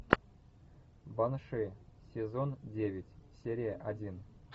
банши сезон девять серия один